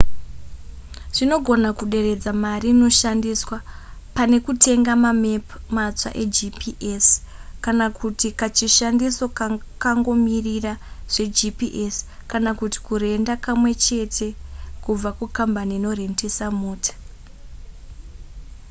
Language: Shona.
zvinogona kuderedza mari inoshandiswa pane kutenga mamepu matsva egps kana kuti kachishandiso kakangomirira zvegps kana kuti kurenda kamwe chete kubva kukambani inorendesa mota